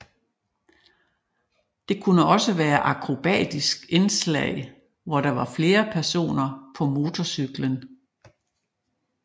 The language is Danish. Der kunne også være akrobatiske indslag hvor der var flere personer på motorcyklen